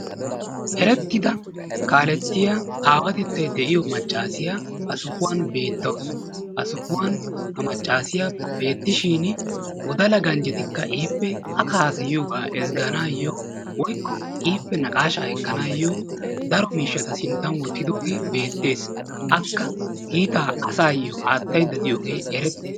ha beettiya gels''oti issi gela''iya yeexxishin hankko gela''otikka issippe duridi banttana qonccissiya wogaa maayidashin etappe guyyeesara qassi etaa yetta looxikisanassi loxxikissiyaa miishsha kaa'iyaa yelagay beetttes.